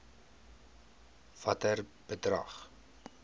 watter bedrag